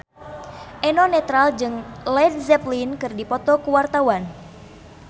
Eno Netral jeung Led Zeppelin keur dipoto ku wartawan